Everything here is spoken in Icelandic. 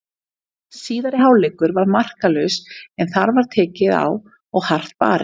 Síðari hálfleikur var markalaus en þar var tekið á og hart barist.